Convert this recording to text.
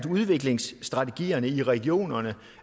udviklingstrategierne i regionerne